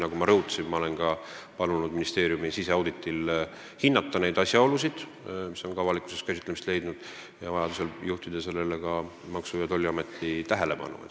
Nagu ma rõhutasin, ma olen palunud ka ministeeriumi siseauditi käigus hinnata neid asjaolusid, mis on avalikkuseski käsitlemist leidnud, ning vajaduse korral juhtida sellele ka Maksu- ja Tolliameti tähelepanu.